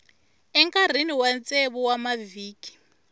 enkarhini wa tsevu wa mavhiki